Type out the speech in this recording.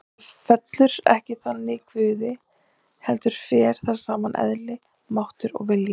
Þetta er ekki þannig í Guði heldur fer þar saman eðli, máttur og vilji.